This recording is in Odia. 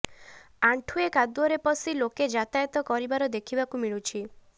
ଆଣ୍ଠୁଏ କାଦୁଅରେ ପଶି ଲୋକେ ଯାତାୟତ କରିବାର ଦେଖିବାକୁ ମିଳୁଛି